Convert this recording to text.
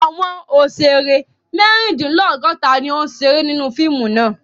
Àwọn òṣèrè mẹ́rindínlọ́gọ̀ta ni ó ń ṣeré nínú fíìmù náà.